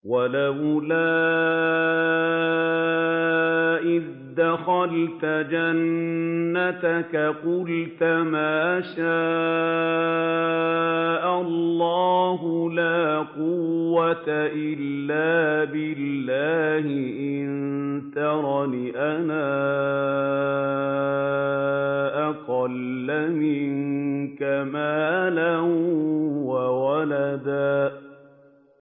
وَلَوْلَا إِذْ دَخَلْتَ جَنَّتَكَ قُلْتَ مَا شَاءَ اللَّهُ لَا قُوَّةَ إِلَّا بِاللَّهِ ۚ إِن تَرَنِ أَنَا أَقَلَّ مِنكَ مَالًا وَوَلَدًا